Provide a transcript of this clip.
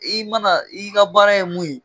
I mana i ka baara ye mun ye.